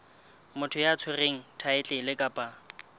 motho ya tshwereng thaetlele kapa